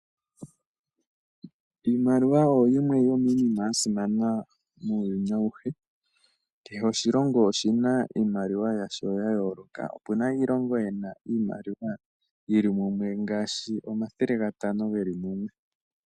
Iimaliwa oyo yimwe yominima yasimana muuyuni awuhe. Kehe oshilongo oshina iimaliwa yasho ya yoloka, opuna iilongo yimwe yina iimaliwa yili mumwe ngashi omathele 500 geli mumwe.